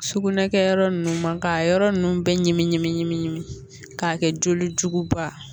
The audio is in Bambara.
Sugunɛ kɛyɔrɔ ninnu ma k'a yɔrɔ ninnu bɛɛ ɲimi k'a kɛ joli jugu ba